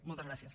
moltes gràcies